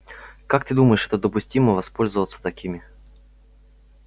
как ты думаешь это допустимо воспользоваться такими